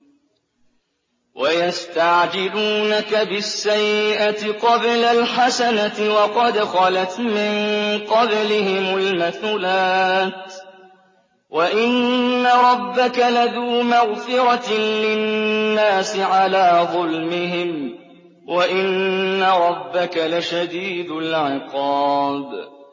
وَيَسْتَعْجِلُونَكَ بِالسَّيِّئَةِ قَبْلَ الْحَسَنَةِ وَقَدْ خَلَتْ مِن قَبْلِهِمُ الْمَثُلَاتُ ۗ وَإِنَّ رَبَّكَ لَذُو مَغْفِرَةٍ لِّلنَّاسِ عَلَىٰ ظُلْمِهِمْ ۖ وَإِنَّ رَبَّكَ لَشَدِيدُ الْعِقَابِ